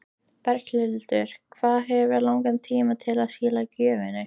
Berghildur: Hvað hefurðu langan tíma til að skila gjöfinni?